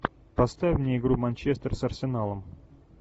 поставь мне игру манчестер с арсеналом